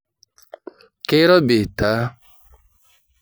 Keirobi taa?